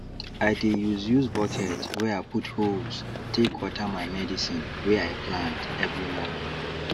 i dey use use bucket wey i put holes take water my medicine wey i plant every morning